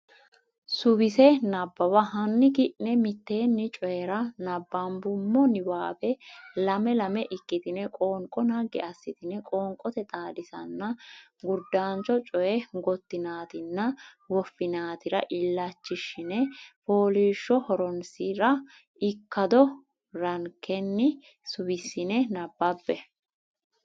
Suwise nabbawa hanni ki ne mitteenni Coyi ra nabbambummo niwaawe lame lame ikkitine qoonqo naggi assitine qoonqote Xaadisaano Gurdancho Coy gottinaatinna woffinaatira illachishshine fooliishsho Horonsi ra ikkado rankenni suwissine nabbabbe.